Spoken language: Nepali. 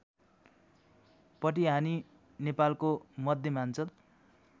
पटिहानि नेपालको मध्यमाञ्चल